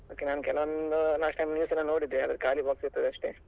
Okay ನಾನು ಕೆಲವೊಂದು last time news ನಲ್ಲಿ ನೋಡಿದ್ದೇ ಅದ್ರಲ್ಲಿ ಖಾಲಿ box ಇದ್ದದಷ್ಟೇ.